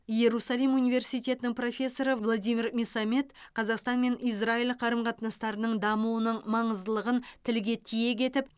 иерусалим университетінің профессоры владимир месамед қазақстан мен израиль қарым қатынастарының дамуының маңыздылығын тілге тиек етіп